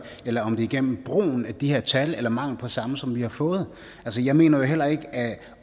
eller om det er gennem brugen af de her tal eller mangel på samme som vi har fået jeg mener heller ikke at